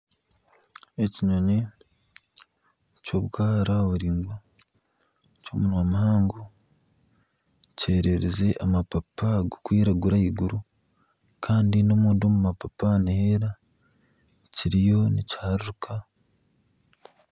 Ekinyonyi ky'obwara biringwa ky'omunwa muhango kyererize amapapa garikwiragura ahaiguru Kandi n'omunda omu mapapa niheera kiriyo nikiharuruka.